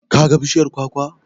Ka ga bishiyar kwakwa?